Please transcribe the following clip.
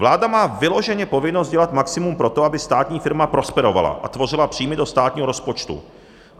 Vláda má vyloženě povinnost dělat maximum pro to, aby státní firma prosperovala a tvořila příjmy do státního rozpočtu.